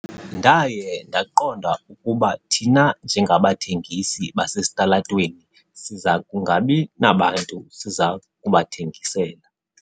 Ndaye ndaqonda ukuba thina njengabathengisi basesitalatweni siza kungabi nabantu siza kubathengisela.